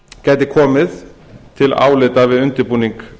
gæti komið til álita við undirbúning